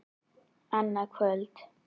Annað kvöld.